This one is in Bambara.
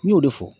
N y'o de fɔ